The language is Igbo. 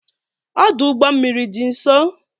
Ọdụ ụgbọ mmiri dị nso?